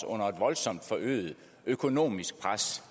under et voldsomt forøget økonomisk pres